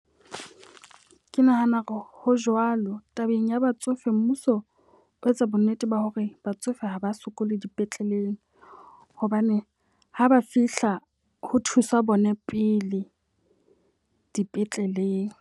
Ke nahana hore ho jwalo. Tabeng ya batsofe mmuso o etsa bo nnete ba hore batsofe ha ba sokole dipetleleng. Hobane ha ba fihla ho thuswa bone pele dipetleleng.